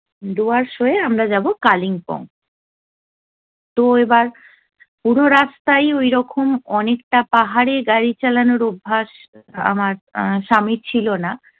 ডুয়ার্টস হয়ে আমরা যাব কালিম্পং তো এবার পুরো রাস্তাই ওইরকম অনেকটা পাহাড়ে গাড়ি চালানোর অভ্যাস আমার স্বামীর ছিলো না।